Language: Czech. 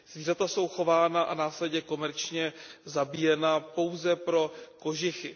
Zvířata jsou chována a následně komerčně zabíjena pouze pro kožichy.